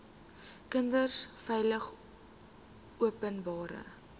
kinders veilig openbare